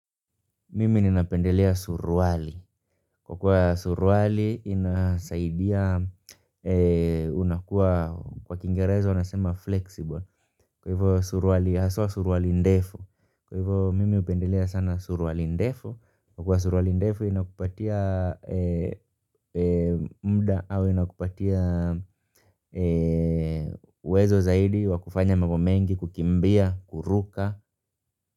Mimi ninapendelea suruali. Kwa kuwa suruali inasaidia unakuwa kwa kingereza unasema 'flexible'. Kwa hivyo, suruali haswa suruali ndefu. Kwa hivyo mimi upendelea sana surwali ndefo. Kuwa suruali ndefu inakupatia muda au inakupatia uwezo zaidi wa kufanya mambo mengi, kukimbia, kuruka.